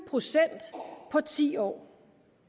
procent på ti år